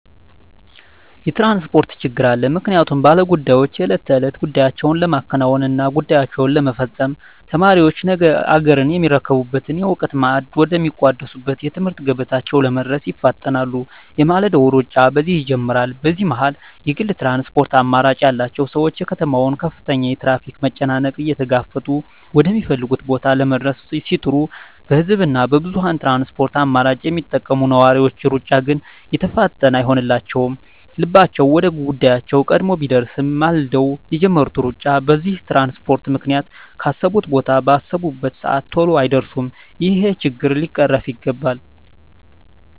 የትራንስፖርት ችግር አለ ምክንያቱም ባለ ጉዳዮች የእለት ተእለት ጉዳያቸዉን ለማከናወን እና ጉዳያቸዉን ለመፈፀም፣ ተማሪዎች ነገ አገርየሚረከቡበትን የእዉቀት ማዕድ ወደ ሚቋደሱበት የትምህርት ገበታቸዉ ለመድረስ ይፋጠናሉ የማለዳዉ ሩጫ በዚህ ይጀምራል በዚህ መሀል የግል ትራንስፖርት አማራጭ ያላቸዉ ሰዎች የከተማዋን ከፍተኛ የትራፊክ መጨናነቅ እየተጋፈጡ ወደ ሚፈልጉት ቦታ ለመድረስ ሲጥሩ በህዝብ እና በብዙኀን የትራንስፖርት አማራጮች የሚጠቀሙ ነዋሪዎች ሩጫ ግን የተፋጠነ አይሆንላቸዉም ልባቸዉ ወደ ጉዳያቸዉ ቀድሞ ቢደርስም ማልደዉ የጀመሩት ሩጫ በዚህ በትራንስፖርት ምክንያት ካሰቡት ቦታ ባሰቡበት ሰአት ተሎ አይደርሱም ይሄ ችግር ሊቀረፍ ይገባል